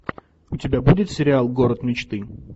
у тебя будет сериал город мечты